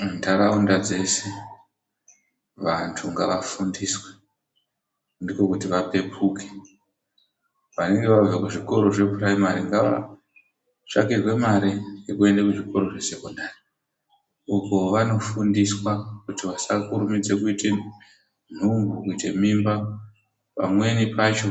Muntaraunda dzeshe vanthu ngavafundiswe. Ndiko kuti vapepuke. Vanenge vabva kuzvikoro zvephuraimari, ngavatsvakirwe mare yekuti vaende kuzvikoro zvesekondari, uko vanofundiswa kuti vasakurumidza kuita nhumbu kuita mimba. Pamweni pacho